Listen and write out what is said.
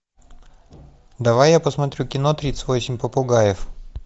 давай я посмотрю кино тридцать восемь попугаев